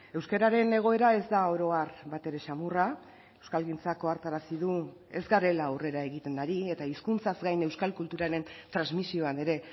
euskararen egoera ez da oro har batere samurra euskalgintzak ohartarazi du ez garela aurrera egiten ari eta hizkuntzaz gain euskal kulturaren transmisioan ere